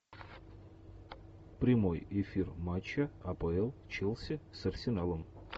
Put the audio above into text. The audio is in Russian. прямой эфир матча апл челси с арсеналом